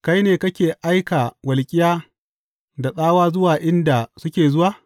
Kai ne kake aika walƙiya da tsawa zuwa inda suke zuwa?